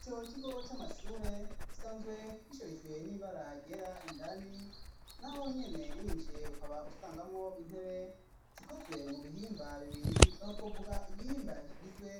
Ico kigo c'amashure, gisanzwe bisherijwe n'ibara ryera ,indani nahonyene winjiye ukaba usangamwo intebe zikozwe mu bihimba bibiri ,iho twovuga igihimba kigizwe